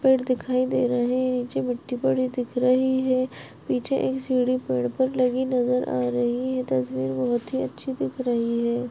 पेड़ दिखाई दे रहे है नीचे मिट्टी पड़ी दिख रही है पीछे एक सीढ़ी पेड़ पर लगी नजर आ रही है तस्वीर बहुत ही अच्छी दिख रही है।